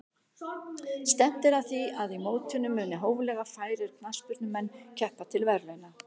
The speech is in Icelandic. Stefnt er að því að í mótinu muni hóflega færir knattspyrnumenn keppa til verðlauna.